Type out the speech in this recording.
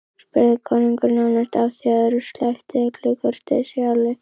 spurði konungur nánast áfjáður og sleppti öllu kurteisishjali.